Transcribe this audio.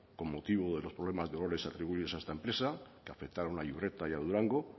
con motivo de los problemas de olores atribuidos a esta empresa que afectaron a iurreta y a durango